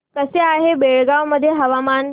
कसे आहे बेळगाव मध्ये हवामान